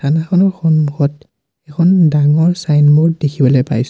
সন্মুখত এখন ডাঙৰ চাইনবোৰ্ড দেখিবলৈ পাইছোঁ।